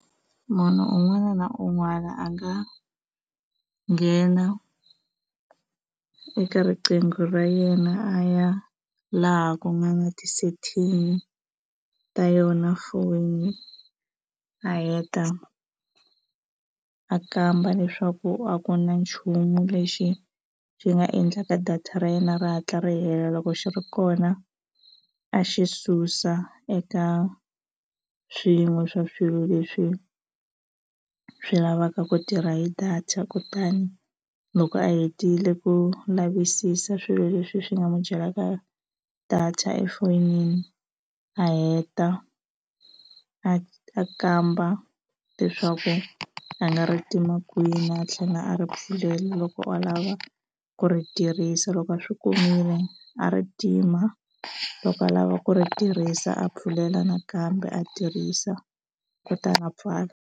Munhu un'wana na un'wana a nga nghena eka riqingho ra yena a ya laha ku nga na ti-setting ta yona phone a heta a kamba leswaku a ku na nchumu lexi xi nga endlaka data ra yena ri hatla ri hela loko xi ri kona a xi susa eka swin'we swa swilo leswi swi lavaka ku tirha hi data kutani loko a hetile ku lavisisa swilo leswi swi nga n'wi byela ka data efonini a heta a kamba leswaku a nga ri tima kwini a tlhela a ri pfulela loko a lava ku ri tirhisa loko a swi kumile a ri tima loko a lava ku ri tirhisa a pfulela nakambe a tirhisa kutani a pfala.